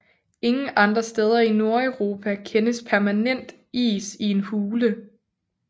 Ingen andre steder i Nordeuropa kendes permanent is i en hule